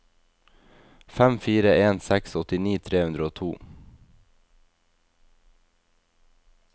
fem fire en seks åttini tre hundre og to